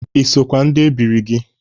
Ị sokwa ndị ebiri gị?